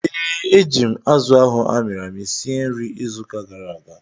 Ee, eji m azụ ahụ amịrị amị sie nri izu ụka gara aga